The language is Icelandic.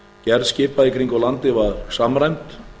gerð skipa í kringum landið var samræmd